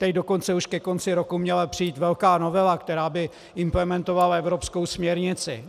Teď dokonce už ke konci roku měla přijít velká novela, která by implementovala evropskou směrnici.